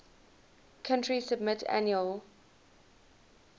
country submit annual